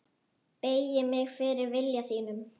Beygi mig fyrir vilja þínum.